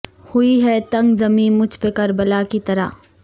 ہوئی ہے تنگ زمیں مجھ پہ کربلا کی طرح